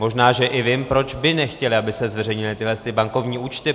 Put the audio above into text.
Možná že i vím, proč by nechtěli, aby se zveřejnily tyhle bankovní účty.